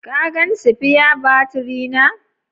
Ka gan sipiya baturi na?